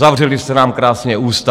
Zavřeli jste nám krásně ústa.